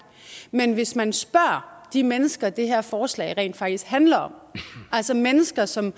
men hvis man spørger de mennesker som det her forslag rent faktisk handler om altså mennesker som